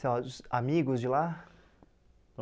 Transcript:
Sei lá, os amigos de lá?